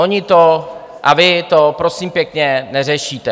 Oni to - a vy to, prosím pěkně, neřešíte.